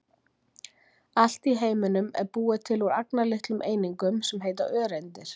allt í heiminum er búið til úr agnarlitlum einingum sem heita öreindir